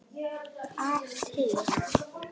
Af teig